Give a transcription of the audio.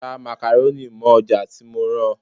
Ra makaroni mọ́ ọjà tí mo rán ọ.